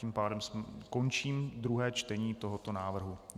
Tím pádem končím druhé čtení tohoto návrhu.